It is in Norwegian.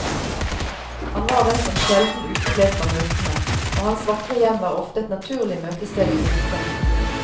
Han var den som sjelden uteble fra møtene, og hans vakre hjem var ofte et naturlig møtested for gutta.